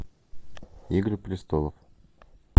игры престолов